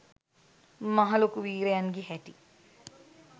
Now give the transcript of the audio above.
මහ ලොකු වීරයන්ගෙ හැටි.